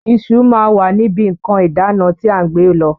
Iṣu máa wà níbi nǹkan ìdána tí à ń gbé lọ.